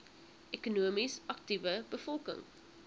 ekonomies aktiewe bevolking